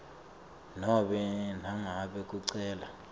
nobe nangabe kucela